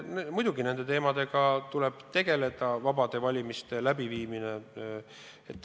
Muidugi, nende teemadega tuleb tegeleda, tuleb tegeleda vabade valimiste läbiviimisega.